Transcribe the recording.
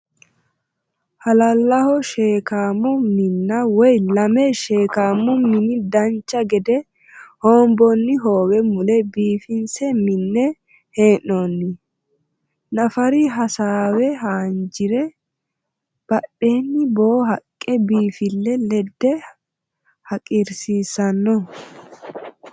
Halallaho sheekkaamo Minna woy lame sheekkamu mine dancha gede hoonboonni hoowe mule biifinse minne hee'noonni. Nafari hassaawe haanjire badheenni boo haqqe biifille ledde haqiirsiissanno